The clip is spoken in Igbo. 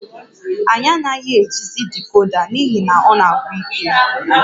Anyị anaghị ejizi decoda n'ihi na ọ na-agwụ ike